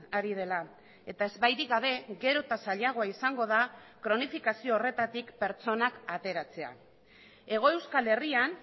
ari dela eta ezbairik gabe gero eta zailagoa izango da kronifikazio horretatik pertsonak ateratzea hego euskal herrian